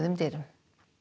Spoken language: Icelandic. dyrum